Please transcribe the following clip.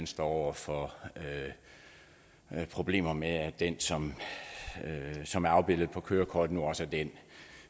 står over for problemer med at den som som er afbildet på kørekortet nu også er den